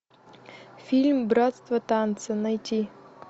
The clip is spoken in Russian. фильм братство танца найти